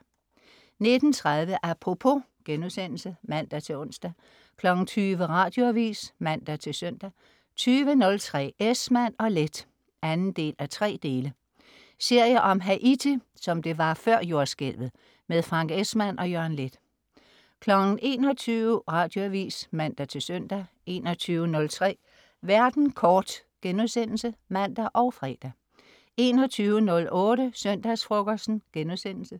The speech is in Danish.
19.30 Apropos* (man-ons) 20.00 Radioavis (man-søn) 20.03 Esmann & Leth 2:3 Serie om Haiti, som det var før jordskælvet. Frank Esmann og Jørgen Leth 21.00 Radioavis. (man-søn) 21.03 Verden kort* (man og fre) 21.08 Søndagsfrokosten*